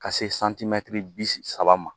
Ka se bi saba ma